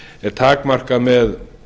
er takmarkað með